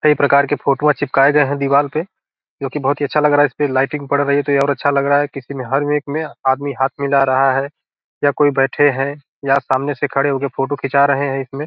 कई प्रकार के फोटो चिपकाये गए है दिवाल पे जो की बहुत ही अच्छा लग रहा है इस पे लाइटिंग पड़ रही है तो ये और भी अच्छा लग रहा है किसी हर एक में आदमी हाथ मिला रहा है कोई बैठे है या सामने से खड़े हो के फोटो खींचा रहे है इस में।